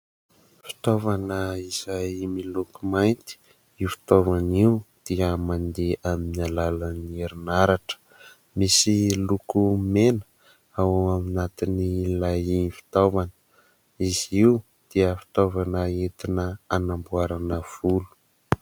Fitaovana izay miloko mainty. Io fitaovana io dia mandeha amin'ny alalan'ny herinaratra. Misy loko mena ao anatin'ilay fitaovana. Izy io dia fitaovana entina hanamboarana volo.